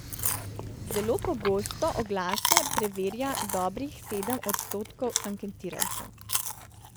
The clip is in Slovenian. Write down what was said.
Zelo pogosto oglase preverja dobrih sedem odstotkov anketirancev.